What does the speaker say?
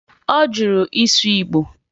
Ọ jụrụ ịsụ Igbo